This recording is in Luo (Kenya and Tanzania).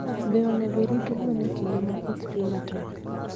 Be onego orit gwen e kinde ma koth chue matek?